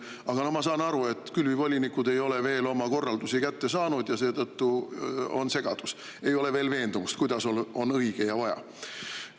Aga ma saan aru, et külvivolinikud ei ole veel oma korraldusi kätte saanud ja seetõttu on segadus, ei ole veel veendumust, kuidas on õige ja kuidas on vaja.